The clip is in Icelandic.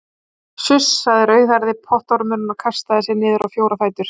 Suss sagði rauðhærði pottormurinn og kastaði sér niður á fjóra fætur.